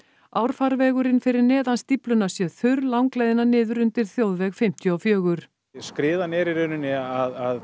árfarvegurinn fyrir neðan stífluna sé þurr langleiðina niður undir þjóðveg fimmtíu og fjögur skriðan er í rauninni að